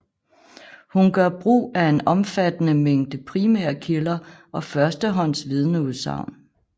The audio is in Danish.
Hun gør brug af en omfattende mængde primære kilder og første hånds vidneudsagn